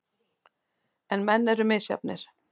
En menn eru misjafnir.